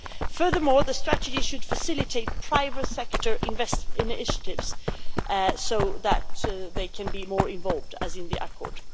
Furthermore, the strategy should facilitate private sector investor initiatives so that they can be more involved, as in the accord.